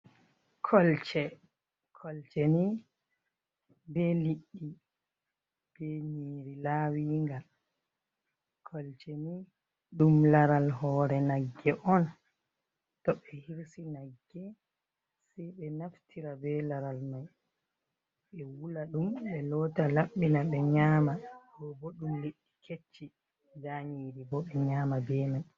Kolce. kolcenii be liɗɗi be nyiri lawinga. Kolcenii ɗum laral hore nagge on to ɓe hirsi nagge sei ɓe naftira be laral mai ɓe wula ɗum ɓe lota laɓɓina ɓe nyama. Ɗo ɓo ɗum liɗɗi kecci, nda nyiri bo ɓe nyama be mai.